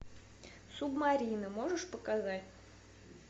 субмарина можешь показать